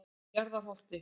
Njarðarholti